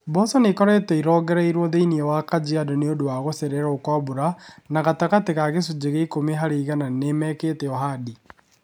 Mboco ni͂ ikoretwo irongereirio thi͂ini͂ wa Kajiado ni͂ u͂ndu͂ wa gu͂cererwo kwa mbura, na gatagati͂ ka gi͂cunji͂ gi͂a iku͂mi hari͂ igana ni͂ meki͂te u͂handi.